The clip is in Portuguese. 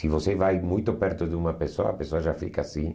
Se você vai muito perto de uma pessoa, a pessoa já fica assim.